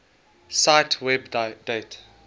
cite web date